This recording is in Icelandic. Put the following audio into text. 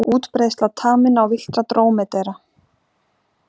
Útbreiðsla taminna og villtra drómedara.